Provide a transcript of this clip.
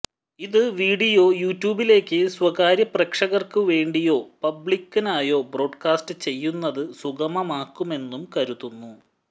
ഇത് വിഡിയോ യുട്യൂബിലേക്കു സ്വകാര്യ പ്രേക്ഷകര്ക്കു വേണ്ടിയോ പബ്ലിക്കിനായോ ബ്രോഡ്കാസ്റ്റ് ചെയ്യുന്നതു സുഗമമാക്കുമെന്നും കരുതുന്നു